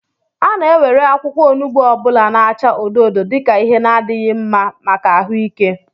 A na-ewere akwukwo onugbu ọ bụla na-acha odo odo dika Ihe n'adịghị mma maka ahụike